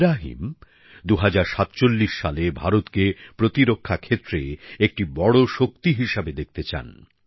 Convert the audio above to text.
ইব্রাহিম ২০৪৭ সালে ভারতকে প্রতিরক্ষা ক্ষেত্রে একটি বড় শক্তি হিসেবে দেখতে চান